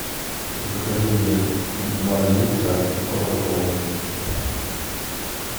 закажи мне два литра кока колы